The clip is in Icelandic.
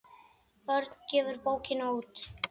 Örn gefur bókina út.